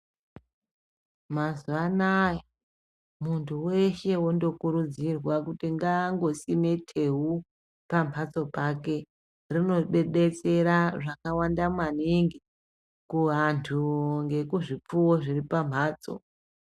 Mazuva anaya muntu weshe wondo kurudzirwa kuti ngaango sime tewu pamhatso pake rino detsera zvakawanda maningi ku vantu ngekuzvi pfuwo zviri pa mbatso.